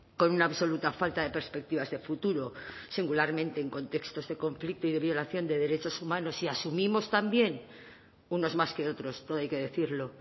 con una absoluta falta de perspectivas de futuro singularmente en contextos de conflicto y de violación de derechos humanos y asumimos también unos más que otros todo hay que decirlo